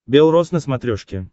бел роз на смотрешке